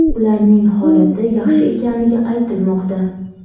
Ularning holati yaxshi ekanligi aytilmoqda.